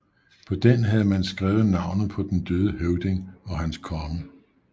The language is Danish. På den havde man skrevet navnet på den døde høvding og hans konge